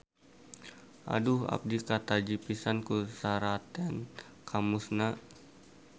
Aduh abdi kataji pisan ku seratan Kamus-na.